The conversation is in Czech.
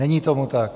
Není tomu tak.